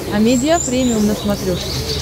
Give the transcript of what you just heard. амедиа премиум на смотрешке